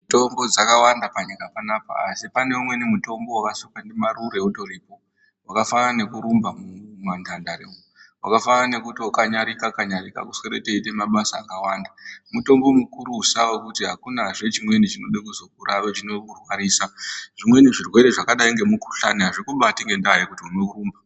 Mitombo dzakawanda panyika panapa, asi pane umweni mutombo wevasikwa ndiMarure utoripo, wakafanana nekurumba mumantandare umo, wakafanana nekutokanyarika-kanyarika, kuswere teiite mabasa akawanda. Mutombo mukurusa wekuti akunazve chimweni chinode kuzokuura kuzokurwarisa. Zvimweni zvirwere zvakadai ngemukhuhlani azvikubati ngendaa yekuti unorumba.